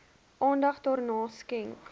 aandag daaraan skenk